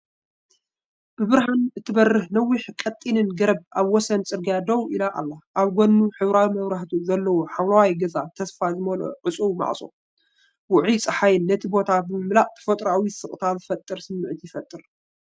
ብብርሃን እትበርህ ነዋሕን ቀጢንን ገረብ ኣብ ወሰን ጽርግያ ደው ኢላ ኣላ። ኣብ ጎድኑ ሕብራዊ መብራህታቱ ዘለዎ ሓምላይ ገዛ ተስፋ ዝመልኦ ዕጹው ማዕጾ የቕርብ። ውዑይ ጸሓይ ነቲ ቦታ ብምምላእ ተፈጥሮኣዊ ስቕታ ዝፈጥር ስምዒት ይፈጥር።